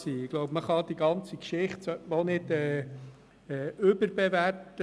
Ich glaube, man sollte diese Geschichte auch nicht überbewerten.